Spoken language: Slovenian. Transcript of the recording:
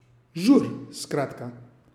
Žur, skratka.